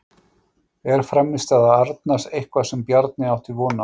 Er frammistaða Arnars eitthvað sem Bjarni átti von á?